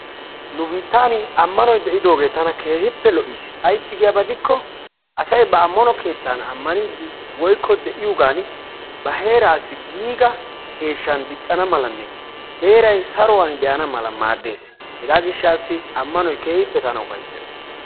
Nu biittaani ammanoy de'idoogee tana keehippe lo"iis. Ayssi giyaaba gidikko asay ba ammano keettan aamaniidi woykko de'iyoogan ba heerassi giiga eeshshan diiccana malanne heeray saruwaan de"ana mala maaddees. hegaa giishshatassi ammanoy keehippe tana ufayssees.